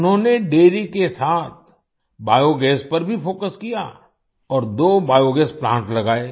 उन्होंने डेयरी के साथ बायोगास पर भी फोकस किया और दो बायोगास प्लांट्स लगाये